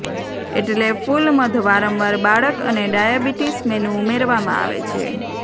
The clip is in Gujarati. એટલે ફૂલ મધ વારંવાર બાળક અને ડાયાબિટીસ મેનુ ઉમેરવામાં આવે છે